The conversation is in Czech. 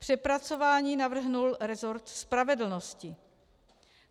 Přepracování navrhl rezort spravedlnosti.